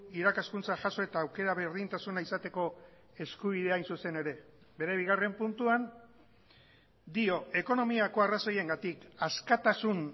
irakaskuntza jaso eta aukera berdintasuna izateko eskubidea hain zuzen ere bere bigarren puntuan dio ekonomiako arrazoiengatik askatasun